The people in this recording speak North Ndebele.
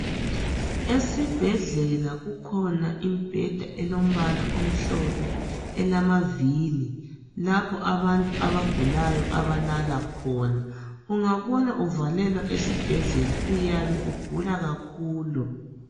Esibhedlela kukhona imbheda elombala omhlophe elamaviri lapho abantu abagulayo abalala khona. Ungabona uvalelwa esibhedlela uyabe ugula kakhulu.